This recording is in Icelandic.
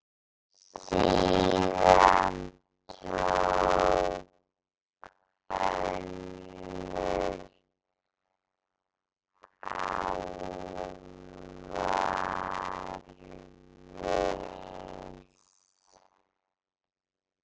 Síðan tók önnur alvara við.